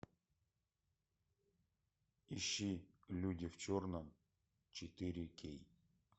ищи люди в черном четыре кей